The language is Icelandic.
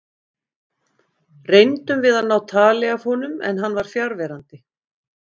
Reyndum við að ná tali af honum en hann var fjarverandi.